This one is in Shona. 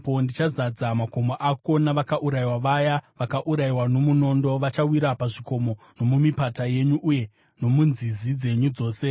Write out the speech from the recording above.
Ndichazadza makomo ako navakaurayiwa; vaya vakaurayiwa nomunondo vachawira pazvikomo nomumipata yenyu uye nomunzizi dzenyu dzose.